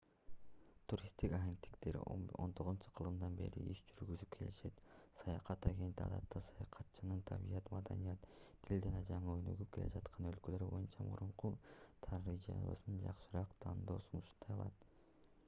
туристтик агенттиктер 19-кылымдан бери иш жүргүзүп келишет саякат агенти адатта саякатчынын табият маданият тил жана жаңы өнүгүп келе жаткан өлкөлөр боюнча мурунку тажрыйбасынан жакшыраак тандоо сунуштай алат